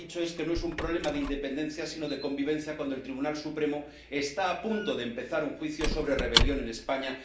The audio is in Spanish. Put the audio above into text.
Y lo que ha dicho es que no es un problema de independencia, sino de convivencia, cuando el Tribunal Supremo está a punto de empezar un juicio sobre rebelión en España.